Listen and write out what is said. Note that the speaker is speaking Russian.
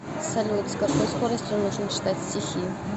салют с какой скоростью нужно читать стихи